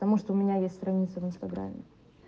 потому что у меня есть страница в инстаграме